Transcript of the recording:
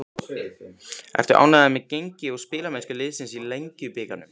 Ertu ánægður með gengi og spilamennsku liðsins í Lengjubikarnum?